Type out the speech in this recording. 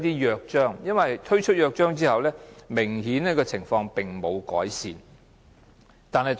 因為推出《約章》之後，情況並沒有改善。